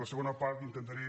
en la segona part intentaré